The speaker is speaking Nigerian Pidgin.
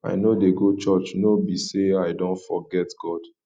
i know dey go church no be say i don forget god